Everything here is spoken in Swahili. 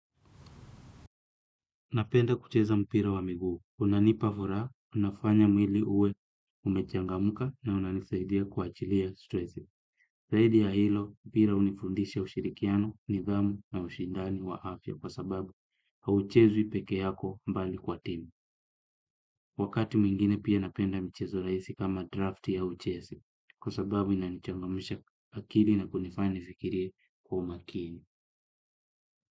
Napenda kucheza mpira wa miguu. Unanipavuraa, unafanya mwili uwe umechanga muka na unanisaidia kua achilia stressi. Zaidi ya hilo, mpira unifundisha ushirikiano, nidhamu na ushindani wa afya kwa sababu, hauchezwi peke yako mbali kwa timu. Wakati mwingine pia napenda mchezo raisi kama draft au chesi, kwa sababu inanichangamusha akili na kunifani fikiri kwa umakini.